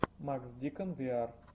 макс дикон виар